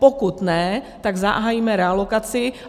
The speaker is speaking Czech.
Pokud ne, tak zahájíme realokaci.